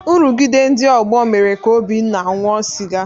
Nrụgide ndị ọgbọ mere ka Obinna ṅụọ sịga.